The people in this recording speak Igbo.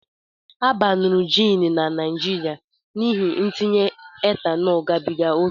A baanuru jiin na Naịjirịa n'ihi ntinye etanol gabiga ókè